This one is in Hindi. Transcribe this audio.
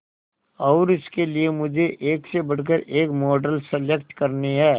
और इसके लिए मुझे एक से बढ़कर एक मॉडल सेलेक्ट करनी है